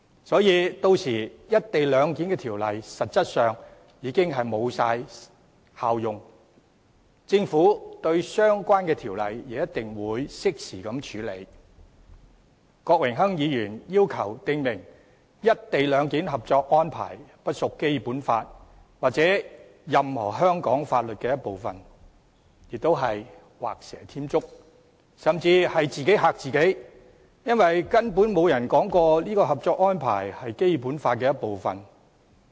郭榮鏗議員要求訂明《內地與香港特別行政區關於在廣深港高鐵西九龍站設立口岸實施"一地兩檢"的合作安排》不屬《基本法》或任何香港法律的一部分，亦是畫蛇添足，甚至是自己嚇自己，因為根本沒有人說過《合作安排》是《基本法》的一部分。